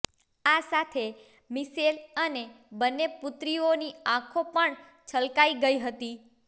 આ સાથે મિશેલ અને બંને પુત્રીઓની આંખો પણ છલકાઈ ગઈ હતી